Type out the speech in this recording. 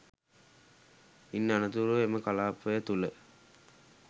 ඉන් අනතුරුව එම කළාපය තුළ